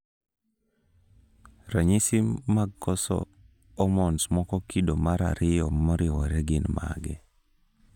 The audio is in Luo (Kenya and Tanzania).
ranyisi mag koso omons moko kido mar ariyom moriwore gin mage?